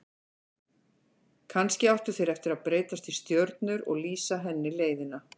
Kannski áttu þeir eftir að breytast í stjörnur og lýsa henni leiðina.